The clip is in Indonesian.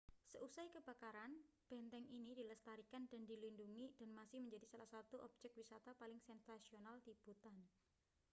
seusai kebakaran benteng ini dilestarikan dan dilindungi dan masih menjadi salah satu objek wisata paling sensasional di bhutan